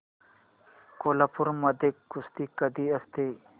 कोल्हापूर मध्ये कुस्ती कधी असते